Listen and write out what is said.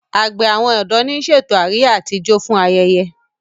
àgbè àwọn odò ní ṣètò Àríyá àti ìjọ fún ayẹyẹ.